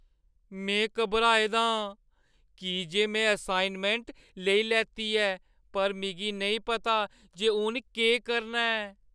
में घबराए दा आं की जे में असाइनमैंट लेई लैती ऐ पर मिगी नेईं पता जे हून केह् करना ऐ।